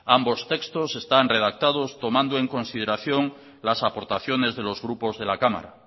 ambos textos están redactados tomando en consideración las aportaciones de los grupos de la cámara